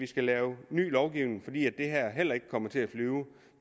skulle lave ny lovgivning fordi det her heller ikke kommer til at flyve